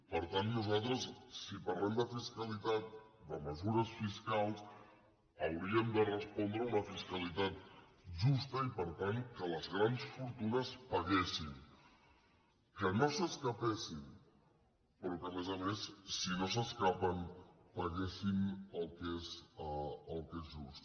per tant nosaltres si parlem de fiscalitat de mesures fiscals hauríem de respondre a una fiscalitat justa i per tant que les grans fortunes paguessin que no s’escapessin però que a més a més si no s’escapen paguessin el que és just